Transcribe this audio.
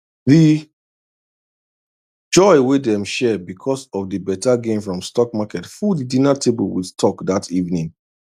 the joy wey dem share because of the better gain from stock market full the dinner table with talk that evening